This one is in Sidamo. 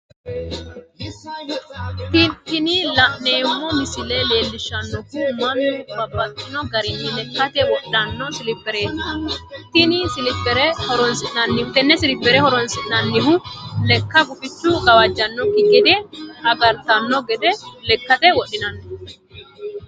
Tini la'neemo misile leellishanohu mannu babaxxino garinni lekkate wodhano silipireti tene silipere horonsinannihu lekka gufichunni gawajantanokki gede agaritano gede lekate wodhinanni